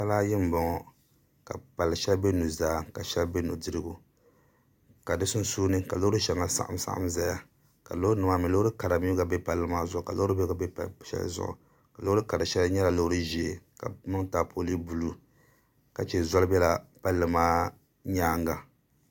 Pala ayi n bɔŋɔ ka pali shɛli bɛ nuzaa ka shɛli bɛ nudirigu ka di sunsuuni ka loori shɛŋa saɣam saɣam ʒɛya ka loori nim maa mii loori kara gba mii bɛ pala maa zuɣu ka Loori bihi gba bɛ shɛli zuɣu loori kara shɛli nyɛla loori ʒiɛ ka bi niŋli taapooli ka chɛ zoli biɛla palli maa nyaanga